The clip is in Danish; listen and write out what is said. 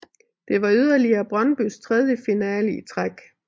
Det var yderligere Brøndbys tredje finale i træk